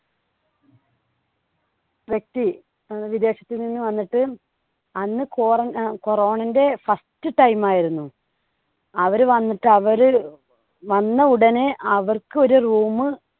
വ്യക്തി വിദേശത്ത് നിന്ന് വന്നിട്ട് അന്ന് കോറ corona ന്‍ടെ first time ആയിരുന്നു. അവര് വന്നിട്ട് അവര് വന്ന ഉടനെ അവർക്കൊരു room